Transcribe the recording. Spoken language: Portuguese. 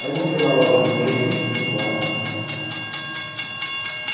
Aí montei uma loja de lingerie com ela.